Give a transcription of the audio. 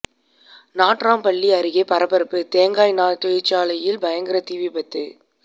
நாட்றம்பள்ளி அருகே பரபரப்பு தேங்காய் நார் தொழிற்சாலையில் பயங்கர தீ விபத்து